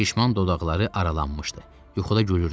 Şişman dodaqları aralanmışdı, yuxuda gülürdü.